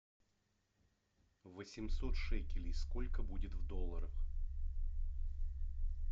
восемьсот шекелей сколько будет в долларах